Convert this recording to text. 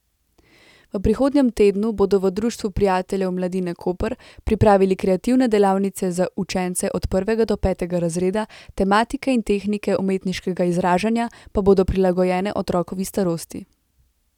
V prihodnjem tednu bodo v Društvu prijateljev mladine Koper pripravili kreativne delavnice za učence od prvega do petega razreda, tematike in tehnike umetniškega izražanja pa bodo prilagojene otrokovi starosti.